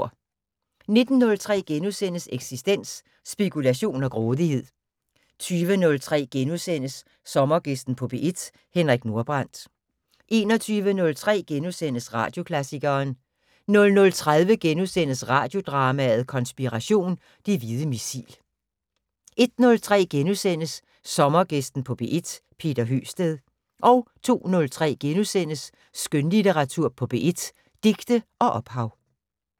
19:03: Eksistens: Spekulation og grådighed * 20:03: Sommergæsten på P1: Henrik Nordbrandt * 21:03: Radioklassikeren * 00:30: Radiodrama: Konspiration - Det hvide missil * 01:03: Sommergæsten på P1: Peter Høgsted * 02:03: Skønlitteratur på P1: Digte og ophav *